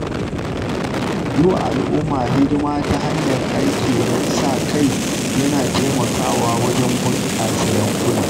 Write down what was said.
Yi wa al’umma hidima ta hanyar aiki na sa-kai yana taimakawa wajen bunƙasa yankuna.